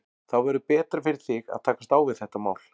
Þá verður betra fyrir þig að takast á við þetta mál.